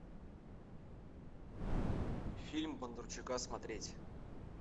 фильм бондарчука смотреть